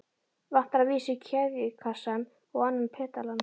Vantar að vísu keðjukassann og annan pedalann.